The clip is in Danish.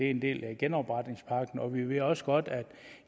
en del af genopretningspakken og vi ved også godt at